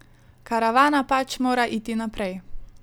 Karavana pač mora iti naprej.